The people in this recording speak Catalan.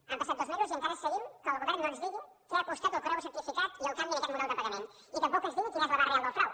han passat dos mesos i encara seguim que el govern no ens diu què ha costat el correu certificat i el canvi en aquest model de pagament i tampoc ens diu quin és l’abast real del frau